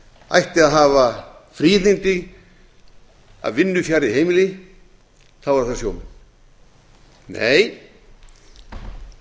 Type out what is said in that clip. ætti að hafa fríðindi af vinnu fjarri heimili eru það sjómenn nei